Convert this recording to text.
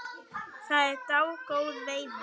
Það er dágóð veiði.